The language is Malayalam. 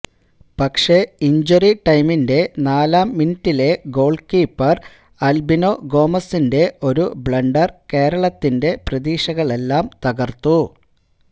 പക്ഷേ ഇന്ജുറി ടൈമിന്റെ നാലാം മിനിറ്റിലെ ഗോള് കീപ്പര് ആല്ബിനോ ഗോമസിന്റെ ഒരു ബ്ലണ്ടര് കേരളത്തിന്റെ പ്രതീക്ഷകളെല്ലാം തകര്ത്തു